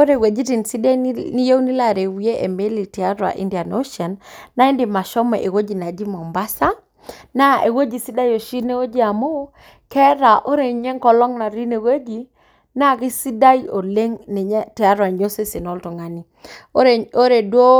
Ore weitin sidai niyeu nilo arawie emeli tiatua indian ocean naa indim ashomo eweji naji Mombasa, na ewueji sidai isho ineweji amuu keeta ore ninye enkolong natii ineweji naa kesidai oleng ninye tiatua ninye osesen loltungani. Ore duo,